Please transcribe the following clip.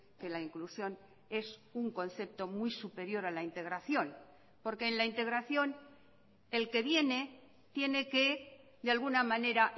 que la inclusión es un concepto muy superior a la integración porque en la integración el que viene tiene que de alguna manera